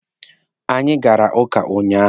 Anyị gara ụka ụnyaahụ.